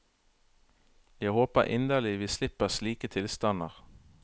Jeg håper inderlig vi slipper slike tilstander.